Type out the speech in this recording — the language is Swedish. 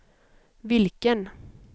vilken